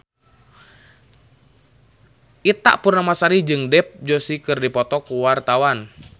Ita Purnamasari jeung Dev Joshi keur dipoto ku wartawan